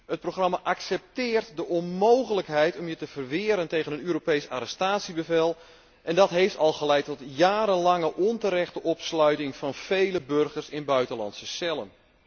Het programma accepteert de onmogelijkheid om je te verweren tegen een Europees arrestatiebevel en dat heeft al geleid tot jarenlange onterechte opsluiting van vele burgers in buitenlandse cellen.